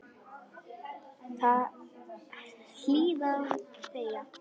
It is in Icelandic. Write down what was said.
Hlýða og þegja.